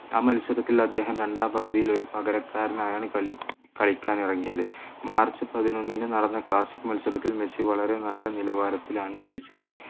ആ മത്സരത്തിൽ അദ്ദേഹം രണ്ടാം പകുതിയിൽ ഒരു പകരക്കാരനായാണ് കളിക്കാൻ ഇറങ്ങിയത് മാർച്ച് പതിനൊന്നിന് നടന്ന classic മത്സരത്തിൽ മെസ്സി വളരെ നല്ല നിലവാരത്തിലാണ് കളിച്ചത്